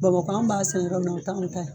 Bamakɔ an b'a san yɔrɔ min , o tɛ an ta ye.